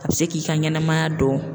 A bɛ se k'i ka ɲɛnɛmaya don